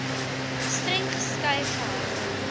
streng geskei gehou